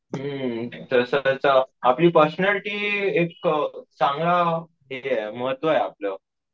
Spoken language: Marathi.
हम्म तसंच आपली पर्सनालिटी एक चांगला एरिया आहे महत्व हे आपलं.